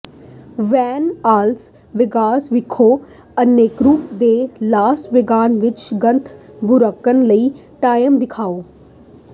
van Las Vegas ਵਿਖੇ Encore ਤੇ Las Vegas ਵਿਚ ਗਥ ਬਰੁੱਕਜ਼ ਲਈ ਟਾਈਮ ਦਿਖਾਓ